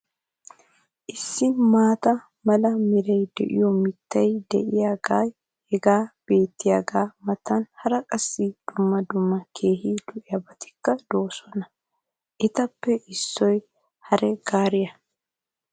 Issi maata mala meray de'iyo mitay diyaagee hagan beetiyaagaa matan hara qassi dumma dumma keehi lo'iyaabatikka de'oosona. Etappe issoy hare gaariya.